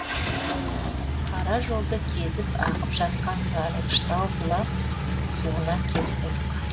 қара жолды кезіп ағып жатқан сарғыштау бұлақ суына кез болдық